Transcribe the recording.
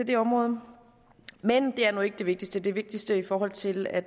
det område men det er nu ikke det vigtigste den vigtigste grund til at